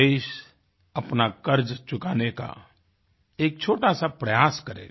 देश अपना कर्ज चुकाने का एक छोटा सा प्रयास करेगा